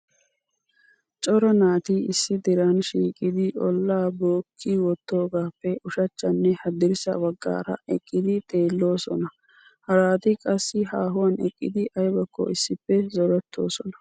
Cora naati issi diran shiiqidi olla bookki wottidoogappe ushachchanne haddirssa baggaara eqqidi xeellosona. Harati qassi haahuwan eqqidi aybakko issippe zorettoosona.